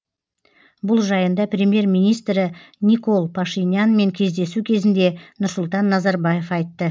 бұл жайында премьер министрі никол пашинянмен кездесу кезінде нұрсұлтан назарбаев айтты